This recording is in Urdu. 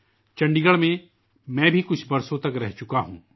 میں بھی چنڈی گڑھ میں کچھ برس رہا ہوں